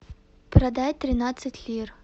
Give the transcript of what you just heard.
продать тринадцать лир